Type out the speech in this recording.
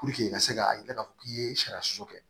i ka se ka i ka fɔ k'i ye sariya sɔsɔ kɛ